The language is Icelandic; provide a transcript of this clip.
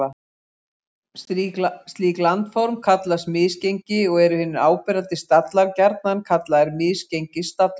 Slík landform kallast misgengi og eru hinir áberandi stallar gjarnan kallaðir misgengisstallar.